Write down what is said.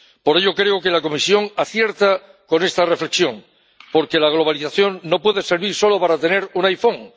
Por ello, creo que la Comisión acierta con esta reflexión, porque la globalización no puede servir solo para tener un iPhone